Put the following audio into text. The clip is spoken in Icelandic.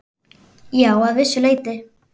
Já, að vissu leyti.